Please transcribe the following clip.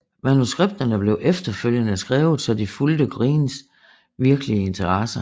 Manuskripterne blev efterfølgende skrevet så de fulgte Greens virkelige interesser